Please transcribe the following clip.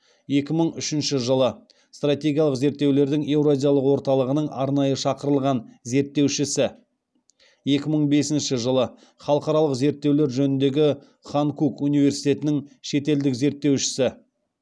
екі мың үшінші жылы стратегиялық зерттеулердің еуразиялық орталығының арнайы шақырылған зерттеушісі екі мың бісінші жылы халықаралық зерттеулер жөніндегі ханкук университетінің шетелдік зерттеушісі